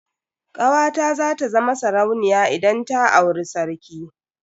Kawata za ta zama sarauniya idan ta auri sarki.